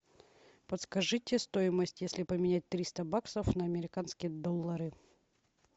подскажите стоимость если поменять триста баксов на американские доллары